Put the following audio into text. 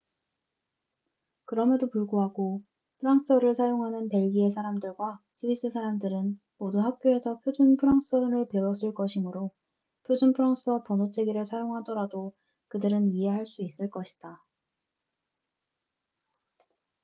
그럼에도 불구하고 프랑스어를 사용하는 벨기에 사람들과 스위스 사람들은 모두 학교에서 표준 프랑스어를 배웠을 것이므로 표준 프랑스어 번호 체계를 사용하더라도 그들은 이해할 수 있을 것이다